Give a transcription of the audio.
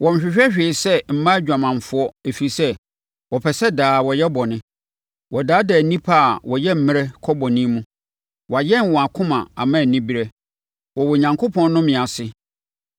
Wɔnhwehwɛ hwee sɛ mmaa adwamanfoɔ ɛfiri sɛ, wɔpɛ sɛ daa wɔyɛ bɔne. Wɔdaadaa nnipa a wɔyɛ mmerɛ kɔ bɔne mu. Wɔayɛn wɔn akoma ama anibereɛ. Wɔwɔ Onyankopɔn nnome ase.